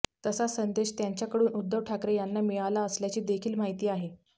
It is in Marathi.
तसा संदेश त्यांच्याकडून उद्धव ठाकरे यांना मिळाला असल्याची देखील माहिती आहे